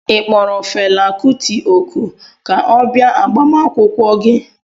Ị kpọrọ Fela kuti òkù ka ọ bịa agbamakwụkwọ gị?